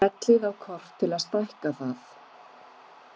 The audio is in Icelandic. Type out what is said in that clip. Smellið á kort til að stækka það.